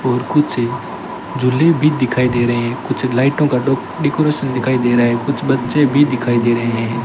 और कुछ झूले भी दिखाई दे रहे हैं कुछ लाइटों का डो डेकोरेशन दिखाई दे रहा है कुछ बच्चे भी दिखाई दे रहे हैं।